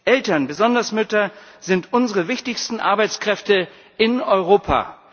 Eltern, besonders Mütter, sind unsere wichtigsten Arbeitskräfte in Europa.